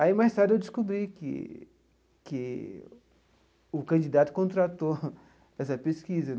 Aí, mais tarde, eu descobri que que o candidato contratou essa pesquisa.